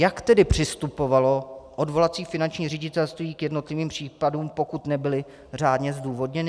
Jak tedy přistupovalo odvolací finanční ředitelství k jednotlivým případům, pokud nebyly řádně zdůvodněny?